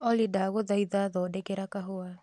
Olly ndagũthaitha thondekera kahũa